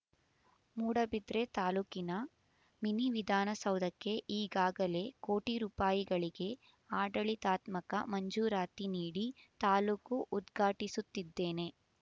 ಮೂಡಬಿದ್ರೆ ತಾಲೂಕಿನ ಮಿನಿವಿಧಾನ ಸೌಧಕ್ಕೆ ಈಗಾಗಲೇ ಕೋಟಿ ರೂಪಾಯಿಗಳಿಗೆ ಆಡಳಿತಾತ್ಮಕ ಮಂಜೂರಾತಿ ನೀಡಿ ತಾಲೂಕು ಉದ್ಘಾಟಿಸುತ್ತಿದ್ದೇನೆ